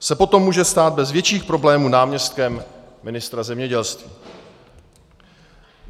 se potom může stát bez větších problémů náměstkem ministra zemědělství.